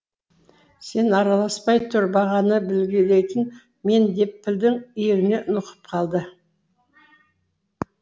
сен араласпай тұр бағаны белгілейтін мен деп пілдің иегінен нұқып қалды